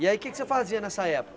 E aí o que é que você fazia nessa época?